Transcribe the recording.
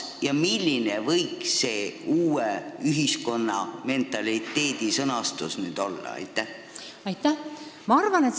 Milline võiks uue ühiskonna mentaliteedi sõnastus nüüd olla?